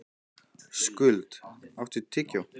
Skuld, áttu tyggjó?